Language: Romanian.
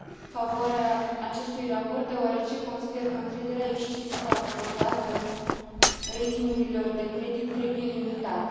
Am votat în favoarea acestui raport, deoarece consider că încrederea excesivă acordată ratingurilor de credit trebuie limitată.